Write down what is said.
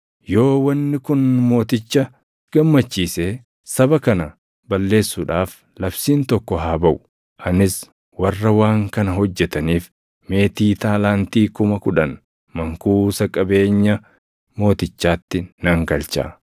Yoo wanni kun mooticha gammachiise saba kana balleessuudhaaf labsiin tokko haa baʼu; anis warra waan kana hojjetaniif meetii taalaantii kuma kudhan mankuusa qabeenya mootichaatti nan galcha.”